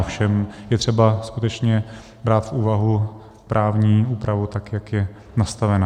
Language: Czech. Ovšem je třeba skutečně brát v úvahu právní úpravu, tak jak je nastavena.